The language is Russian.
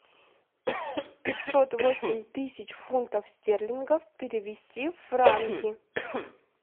пятьсот восемь тысяч фунтов стерлингов перевести в франки